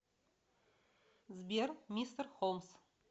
сбер мистер холмс